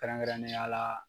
kɛrɛnkɛrɛnnenya la.